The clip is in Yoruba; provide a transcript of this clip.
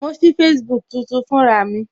Mo sí Facebook tuntun fún ra mi